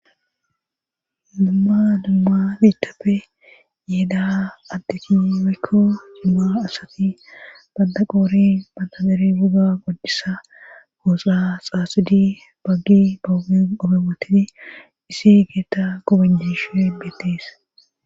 Dumma dumma bitappe yeeda addeki weekko dumma asati banda qoori bandaberi buga goddisa gooxa xaasidi baggi qobe wotidi isi beeta gobaishnhe beettes